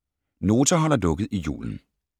Nota holder lukket i julen